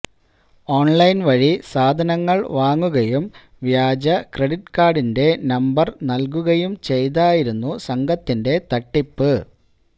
online വഴി സാധനങ്ങള് വാങ്ങുകയും വ്യാജ ക്രെഡിറ്റ് കാര്ഡിന്റെ നമ്പര് നല്കുകയും ചെയ്തായിരുന്നു സംഘത്തിന്റെ തട്ടിപ്പ്